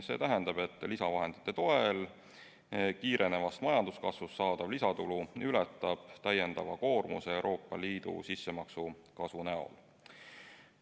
See tähendab, et lisavahendite toel kiirenevast majanduskasvust saadav lisatulu ületab täiendava koormuse Euroopa Liidu sissemaksu kasvu näol.